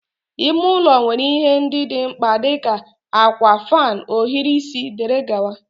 ime ụlọ nwere ihe ndị dị mkpa dị ka, akwa, fan, ohiri isi wdg.